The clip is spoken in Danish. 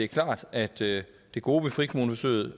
klart at det gode ved frikommuneforsøget